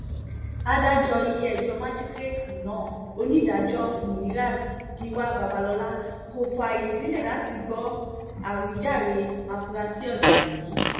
adájọ́ ilé-ẹjọ́ májísrèétì náà onídàájọ́ munirat-giwa babalọ́la kò fààyè sílẹ̀ láti gbọ́ àwíjàre àfúráṣe ọ̀daràn yìí